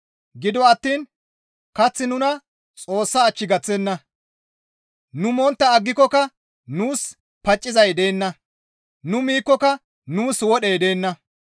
Gido attiin kaththi nuna Xoossa ach gaththenna; nu montta aggikokka nuus paccizay deenna; nu miikkoka nuus wodhey deenna.